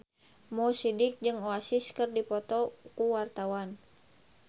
Mo Sidik jeung Oasis keur dipoto ku wartawan